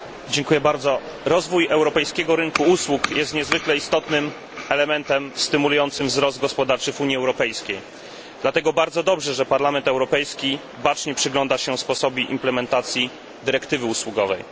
Pani Przewodnicząca! Rozwój europejskiego rynku usług jest niezwykle istotnym elementem stymulującym wzrost gospodarczy w Unii Europejskiej. Dlatego bardzo dobrze, że Parlament Europejski bacznie przygląda się sposobowi implementacji dyrektywy usługowej.